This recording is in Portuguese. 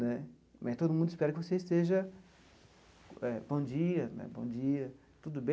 Né mas todo mundo espera que você esteja... Bom dia né, bom dia, tudo bem?